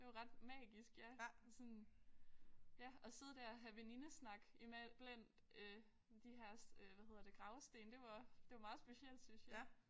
Det var ret magisk ja sådan ja at sidde der og have venindesnak i man blandt øh de her hvad hedder det gravsten. Det var det var meget specielt synes jeg